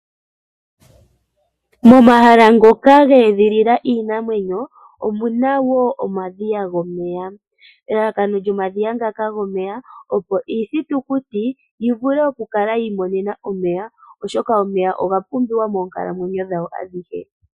Momahala ngoka geedhilila iinamwenyo omuna wo omadhiya gomeya. Elalakano lyomadhiya ngaka gomeya opo iithitukuti yivule okukala yi imonena omeya oshoka omeya oga pumbiwa moonkalamwenyo dhawo adhihe.